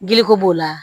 Giliko b'o la